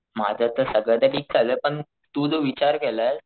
माझं तर सगळं तर ठीक चालूये पण तू जो विचार केलाय,